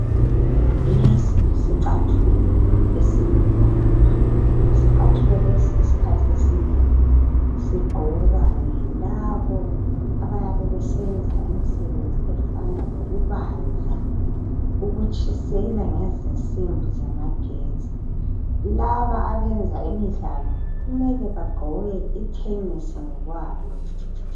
Lesi yisicathulo esimnyama. Isicathulo lesi isikhathi esinengi sigqokwa yilabo abayabe besenza imsebenzi yezandla efana lokubaza, ukutshisela ngezinsimbi zamagetsi. Laba abayenza ngokwemidlalo kumele bagqoke ithenisi ngokwalo.